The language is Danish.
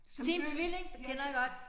Team Tvilling det kender jeg godt